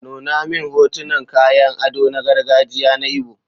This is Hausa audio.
Nuna min hotunan kayan ado na gargajiya na Igbo.